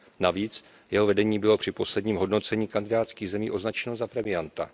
Navíc, jeho vedení bylo při posledním hodnocením kandidátských zemí onačeno za premianta.